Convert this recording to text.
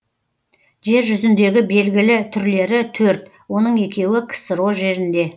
жер жүзіндегі белгілі түрлері төрт оның екеуі ксро жерінде